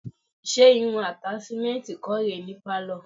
Ṣé irun àtàṣímẹ́ǹtì kọ́ rè é ní pálọ̀?